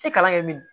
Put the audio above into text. I kalan kɛ min ye